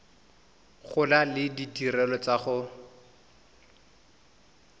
gola le ditirelo tsa go